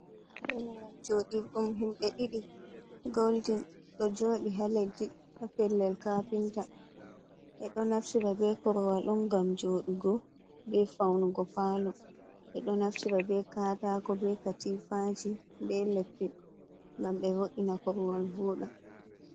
jodur ɗum himɓe ɗiɗi golden do jodi ha leddi, ha pellel kapinta, ɓe ɗo naftira be korwal ɗum ngam jodugo be faunugo palo, ɓe ɗo naftira ɓe katako be katifaji be leppi ngam be vodina korwal voda.